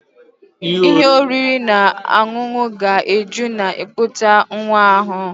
Ihe oriri na ọṅụṅụ ga-eju na ikuputa nwa ahụ